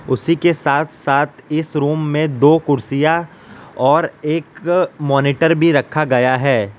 उसी के साथ साथ इस रूम मे दो कुर्सियां और एक मॉनिटर भी रखा गया है।